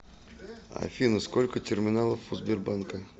афина сколько терминалов у сбербанка